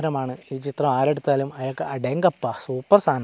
ചിത്രമാണ് ഈ ചിത്രം ആരെടുത്താലും അയാൾക്ക് അടേംങ്കപ്പ സൂപ്പർ സാനം.